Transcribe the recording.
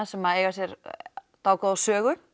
sem eiga sér dágóða sögu